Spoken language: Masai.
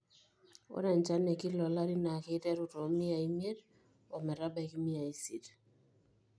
ore enchana e kila olari naa keiteru too miai imiet o metabaiki imiai isiet